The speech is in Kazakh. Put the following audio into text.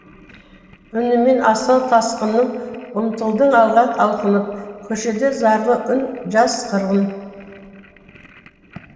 үнімен асау тасқынның ұмтылдың алға алқынып көшеде зарлы үн жас қырғын